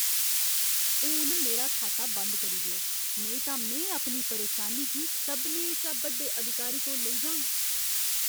हून मेरा खाता बंद करी देओ, नेईं तां में अपनी परेशानी गी सभनें शा बड्डे अधिकारी कोल लेई जाङ।